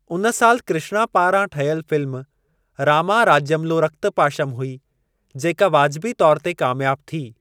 उन साल कृष्णा पारां ठहियल फ़िल्म 'रामा राज्यम्लो रक्तपाशम' हुई, जेका वाजबी तौर ते कामियाबु थी।